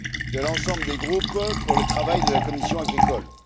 de l'ensemble des groupes pour le travail de la commission de l'agriculture.